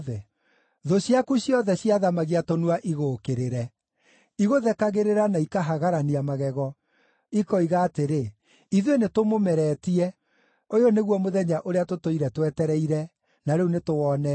Thũ ciaku ciothe ciathamagia tũnua igũũkĩrĩre; igũthekagĩrĩra na ikahagarania magego, ikoiga atĩrĩ, “Ithuĩ nĩtũmũmeretie. Ũyũ nĩguo mũthenya ũrĩa tũtũire twetereire, na rĩu nĩtũwonete.”